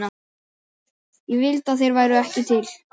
Ég vildi að þeir væru ekki til.